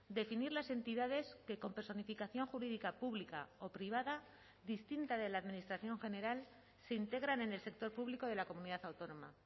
definir las entidades que con personificación jurídica pública o privada distinta de la administración general se integran en el sector público de la comunidad autónoma